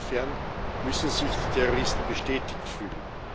Insofern müssen sich die Terroristen bestätigt fühlen.